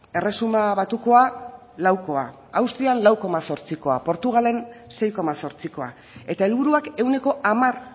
erresuma batukoa laukoa austrian lau koma zortzikoa portugalen sei koma zortzikoa eta helburuak ehuneko hamar